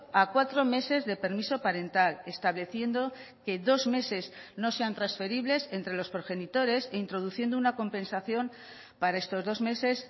a cuatro meses de permiso parental estableciendo que dos meses no sean transferibles entre los progenitores e introduciendo una compensación para estos dos meses